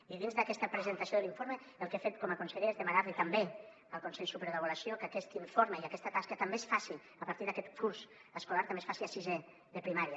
i dins d’aquesta presentació de l’informe el que he fet com a conseller és demanar li també al consell superior d’avaluació que aquest informe i aquesta tasca també es faci a partir d’aquest curs escolar a sisè de primària